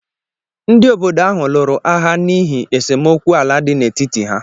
Ndị obodo ahụ lụrụ agha n’ihi esemokwu ala dị n’etiti ha